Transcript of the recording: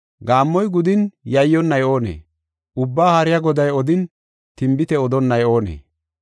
Gaammoy gudin yayyonnay oonee? Ubbaa Haariya Goday odin, tinbite odonnay oonee?